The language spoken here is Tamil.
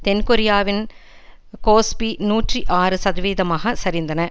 தென் கொரியாவின் கோஸ்பி நூற்றி ஆறு சதவிகிதமாக சரிந்தன